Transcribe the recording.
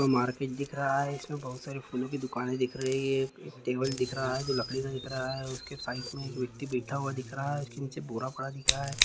Market दिख रहा है। इसमे बहोत सारे फूलों की दुकाने दिख रही हैं। टेबल दिख रहा है जो लकड़ी का दिख रहा है। उस के साइड एक व्यक्ति बैठा हुआ दिख रहा है। उस के नीचे बोरा पड़ा दिख रहा है।